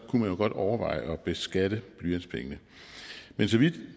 kunne man jo godt overveje at beskatte blyantspengene men så vidt